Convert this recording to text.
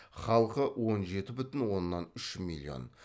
халқы он жеті бүтін оннан үш миллион